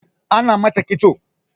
Ana mata ƙitso